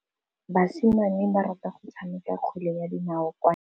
Basimane ba rata go tshameka kgwele ya dinaô kwa ntle.